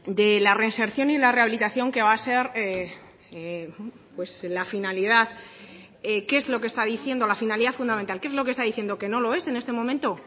de la reinserción y la rehabilitación que va a ser la finalidad qué es lo que está diciendo la finalidad fundamental qué es lo que está diciendo que no lo es en este momento